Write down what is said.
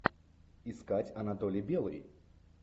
искать анатолий белый